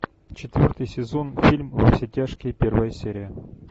четвертый сезон фильм во все тяжкие первая серия